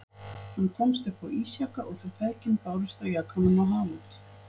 Hann komst upp á ísjaka og þau feðgin bárust á jakanum á haf út.